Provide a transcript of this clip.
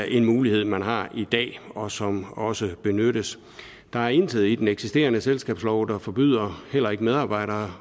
en mulighed man har i dag og som også benyttes der er intet i den eksisterende selskabslov der forbyder heller ikke medarbejdere